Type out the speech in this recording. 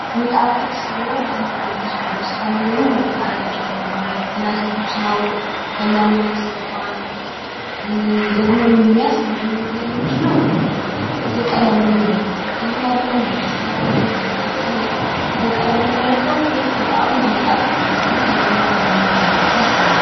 የሚጣፍጥ ሽሮ ባንድ ብረት ድስት ውስጥ ከላይ ደሞ ሁለት ቃርያ ተጨምሮበት ገና ትኩስ ነው ሊበላ መሆኑ ያሳውቃል። ደሞ የሚያስገርመው ነገር ምንድነው የቀለሙ ውህደት ነው። ቀይም አይደለም አልጫም አይደለም አያቃጥልም እና ከቀለሙ የምነረዳው ሁለቱም ጣሙ የተመጣጠነ መሆኑና አንደኛው ካንደኛው እንዳልበዛ ያሳያል።